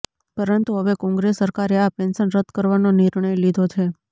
પરંતુ હવે કોંગ્રેસ સરકારે આ પેન્શન રદ કરવાનો નિર્ણય લીધો છે